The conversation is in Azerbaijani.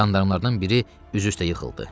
Jandarmalardan biri üz-üstə yıxıldı.